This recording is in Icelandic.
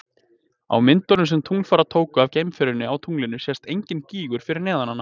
Á myndum sem tunglfarar tóku af geimferjunni á tunglinu sést enginn gígur fyrir neðan hana.